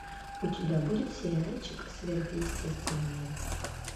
у тебя будет сериальчик сверхъестественное